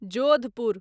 Jodhpur